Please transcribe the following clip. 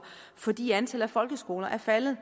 fordi antallet af folkeskoler er faldet